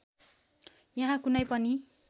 यहाँ कुनै पनि